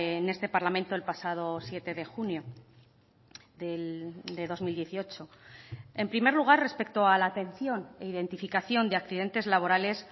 en este parlamento el pasado siete de junio de dos mil dieciocho en primer lugar respecto a la atención e identificación de accidentes laborales